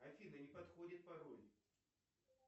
афина не подходит пароль